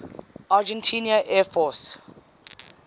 argentine air force